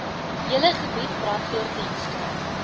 hele gebied brandweerdienste